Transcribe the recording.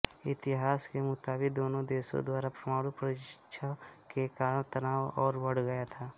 इतिहास के मुताबित दोनों देशों द्वारा परमाणु परीक्षण के कारण तनाव और बढ़ गया था